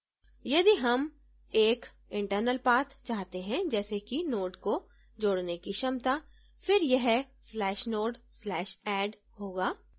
यदि हम एक internal path चाहते हैं जैसे कि node को जोडने की क्षमता फिर यह/node/add होगा